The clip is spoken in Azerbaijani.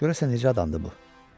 Görəsən necə adamdır bu?